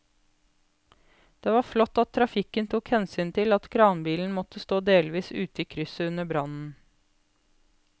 Det var flott at trafikken tok hensyn til at kranbilen måtte stå delvis ute i krysset under brannen.